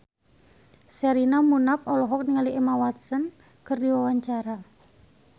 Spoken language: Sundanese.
Sherina Munaf olohok ningali Emma Watson keur diwawancara